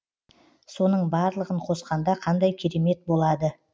соның барлығын қосқанда қандай керемет болады